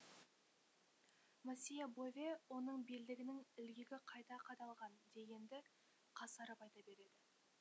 мосье бове оның белдігінің ілгегі қайта қадалған дегенді қасарып айта береді